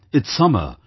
It's summer